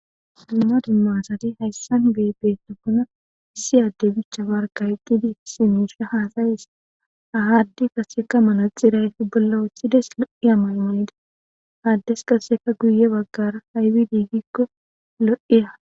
Suumadu maasati hayssan bee beetokona issi adde bicha barkayqqidi simuusha haasayis ahaaddi kaseka mana xirayfi bolla wothsides lo7i amayanida haaddes qaseka guye baggara haywi diigikko lo7iya.